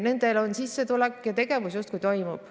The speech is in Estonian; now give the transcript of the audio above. Nendel on sissetulek ja tegevus justkui toimub.